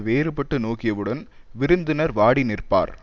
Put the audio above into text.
வேறு பட்டு நோக்கியவுடன் விருந்தினர் வாடி நிற்பார்